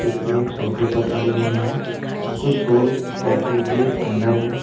ये एक सोफे पर पड़े हुए हैं कुछ शॉल पैकिंग के अंदर है।